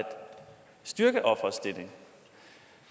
styrke ofrets stilling